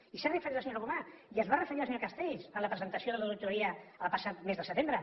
i s’hi ha referit la senyora gomà i s’hi va referir el senyor castells en la presentació de l’auditoria el passat mes de setembre